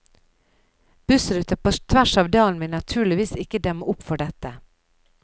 Bussruter på tvers av dalen vil naturligvis ikke demme opp for dette.